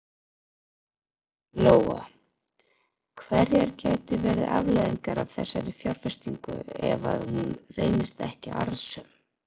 Lóa: Hverjar gætu verið afleiðingar af þessari fjárfestingu ef að hún reynist ekki arðsöm?